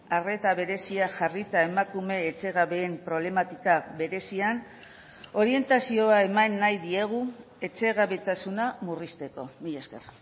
arreta berezia jarrita emakume etxegabeen problematika berezian orientazioa eman nahi diegu etxegabetasuna murrizteko mila esker